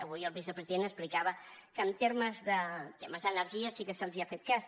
avui el vicepresident explicava que en termes d’energia sí que se’ls ha fet cas